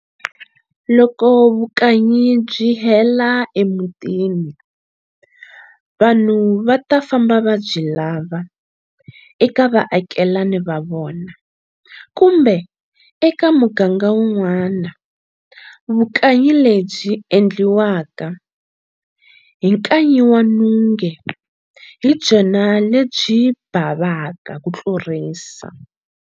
Loko vu kanyi byihela e mutini, vanhu vata famba va byi lava eka va akelani vavona kumbe eka muganga un'wana. Vukanyi lebyi endliwaka hi nkanyi wa nunge hi byona lebyi bhavaka kutlurisa.